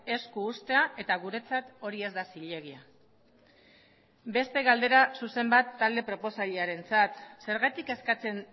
esku uztea eta guretzat hori ez da zilegia beste galdera zuzen bat talde proposailearentzat zergatik eskatzen